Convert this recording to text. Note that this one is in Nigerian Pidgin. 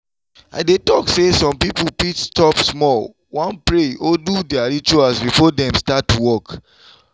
i dey talk say some pipo fit stop small wan pray or do their rituals before dem start work.